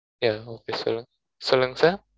yeah okay sir சொல்லுங்க sir